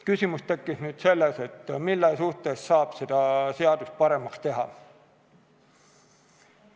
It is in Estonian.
Küsimus tekkis sellest, mille suhtes saab seda seadust paremaks teha.